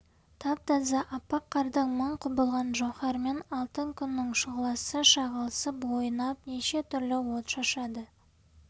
тап-таза аппақ қардың мың құбылған жауһарымен алтын күннің шұғыласы шағылысып ойнап неше түрлі от шашады